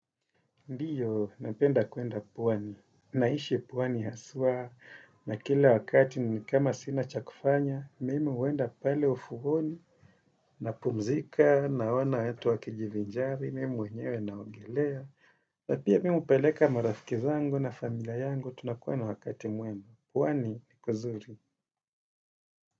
Ndiyo, napenda kuenda pwani. Naishi pwani haswa na kila wakati ni kama sina chakufanya, mimi huenda pale ufuoni napumzika naona watu wakijivinjari, mimi mwenyewe naogelea. Na pia mimi hupeleka marafiki zangu na familia yangu, tunakuwa na wakati muenda. Pwani ni kuzuri.